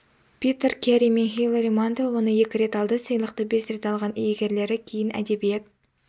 питер кэри мен хилари мантел оны екі рет алды сыйлықты бес рет алған иегерлері кейін әдебиет